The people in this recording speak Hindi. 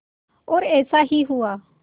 और ऐसा ही हुआ